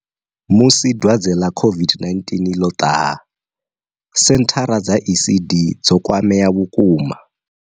Musi dwadze ḽa COVID-19 ḽo ṱaha, senthara dza ECD dzo kwamea vhukuma.